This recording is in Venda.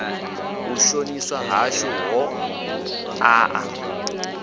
u shoniswa hashu ho ṋaṋa